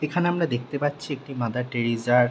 এখানে আমরা দেখতে পাচ্ছি একটি মাদার টেরিজা -র ।